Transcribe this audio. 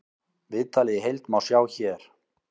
Viðtalið í heild má sjá hér